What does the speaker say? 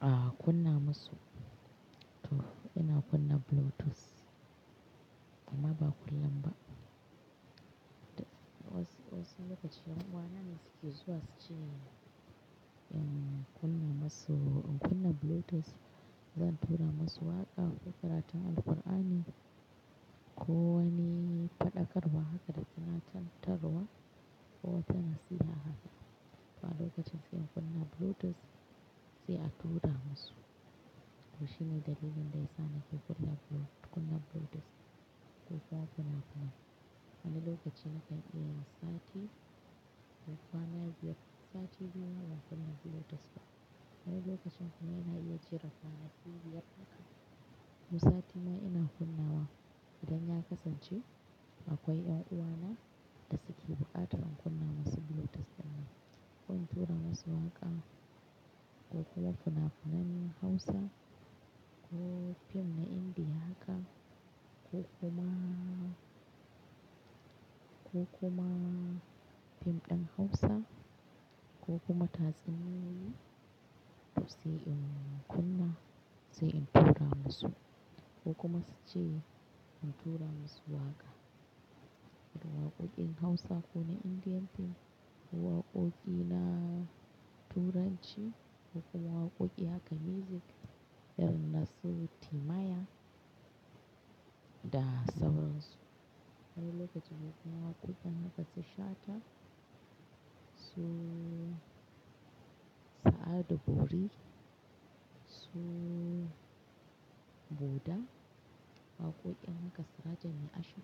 a'a kunna masu to ina kunna bluetooth. Amma ba kullum ba. Wasu lokaci ƴan'uwana ne suke zuwa su ce in kunna masu, in kunna bluetooth zan tura masu waƙa ko karatu an Alqur'ani ko wani faɗakarwa haka da tuna, tunatarwa ko wata nasiha haka. Wani lokacin sai in kunna bluetooth sai a tura masu. To shine dalilin da yasa nake kunna bluet-- kunna bluetooth ko funa-funa. Wani lokaci na kan iya sati ko kwana biyar. Sati biyu na ba kuna bluetooth ba. Wani lokacin kuma ina iya jera sati biyar haka. Mu sati ma ina kunnawa idan ya kasance akwai 'yan'uwana da suke buƙatar in kunna masu bluetooth dinnan. Ko in tura masu waƙa ko kuma funa-funen Hausa ko fim na Indiya haka ko kumaa, ko kuma fim ɗin Hausa ko kuma tatsuniyoyi sai in kunna, sai in tura masu ko kuma su ce in tura masu waƙa. Ko waƙoƙin Hausa ko na Indian fim ko waƙoƙi na turanci ko kuma waƙoƙi haka music. Irin nasu Timaya da sauran su. Wani lokaci lokacin waƙoƙin haka su shata su Sa'adu Bori su Boda. Waƙoƙin na gaskata ne Ashiru.